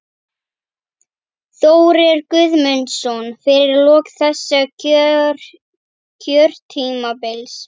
Þórir Guðmundsson: Fyrir lok þessa kjörtímabils?